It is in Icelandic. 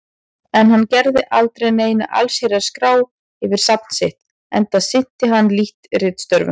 En hann gerði aldrei neina allsherjar-skrá yfir safn sitt, enda sinnti hann lítt ritstörfum.